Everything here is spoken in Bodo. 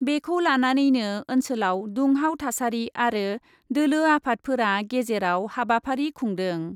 बेखौ लानानैनो ओन्सोलयाव दुंहाव थासारि आरो दोलो आफादफोरा गेजेराव हाबाफारि खुंदों ।